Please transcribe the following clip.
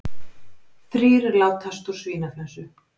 Þrír látast úr svínaflensu